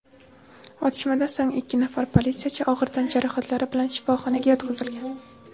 otishmadan so‘ng ikki nafar politsiyachi og‘ir tan jarohatlari bilan shifoxonaga yotqizilgan.